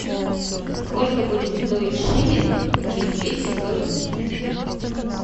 сколько будет стоить шиллинг через двести сорок дней